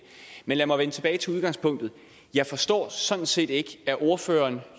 men lad mig vende tilbage til udgangspunktet jeg forstår sådan set ikke at ordføreren